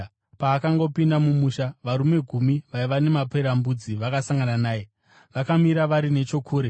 Paakanga opinda mumusha, varume gumi vaiva namaperembudzi vakasangana naye. Vakamira vari nechokure